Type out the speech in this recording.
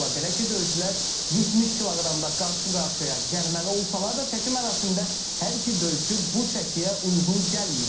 Belə ki, döyüşçülər 70 kq-da qarşı-qarşıya gəlməli olsalar da çəki mərasimində hər iki döyüşçü bu çəkiyə uyğun gəlməyib.